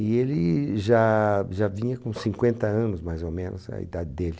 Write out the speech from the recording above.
E ele já já vinha com cinquenta anos, mais ou menos, a idade dele.